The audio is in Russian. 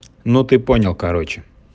ну ты понял короче